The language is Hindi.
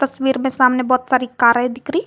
तस्वीर में सामने बहुत सारी कारे दिख रही।